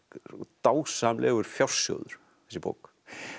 dásamlegur fjársjóður þessi bók